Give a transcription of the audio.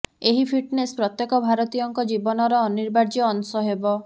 ଏହି ଫିଟନେସ ପ୍ରତ୍ୟେକ ଭାରତୀୟଙ୍କ ଜୀବନର ଅନିବାର୍ଯ୍ୟ ଅଂଶ ହେବ